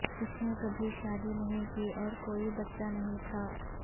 اس نے کبھی شادی نہیں کی اور کوئی بچہ نہیں تھا